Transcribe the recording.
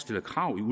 stiller krav i